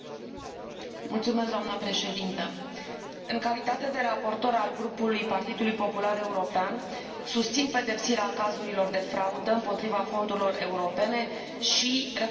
Doamnă președintă, în calitate de raportor al Grupului Partidului Popular European, susțin pedepsirea cazurilor de fraudă împotriva fondurilor europene și recuperarea banilor.